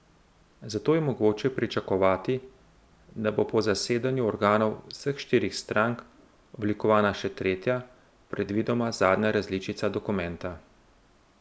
Zato je mogoče pričakovati, da bo po zasedanju organov vseh štirih strank oblikovana še tretja, predvidoma zadnja različica dokumenta.